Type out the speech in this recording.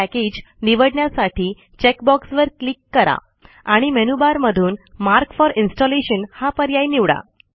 package निवडण्यासाठी check बॉक्सवर click करा आणि मेनूबारमधून मार्क फॉर इनस्टॉलेशन हा पर्याय निवडा